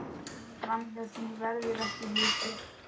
Framhjá því verður ekki litið.